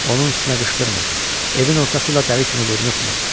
Onun üstünə qışqırmırdı, evin ortası ilə dəli kimi vurnuxmurdu.